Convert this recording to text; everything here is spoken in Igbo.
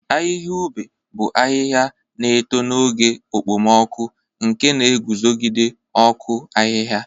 Ahịhịa ube bụ ahịhịa na-eto n'oge okpomọkụ, nke na-eguzogide ọkụ ahịhịa.